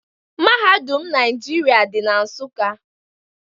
Mahadum Naijiria dị na Nsụka.